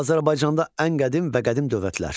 Azərbaycanda ən qədim və qədim dövlətlər.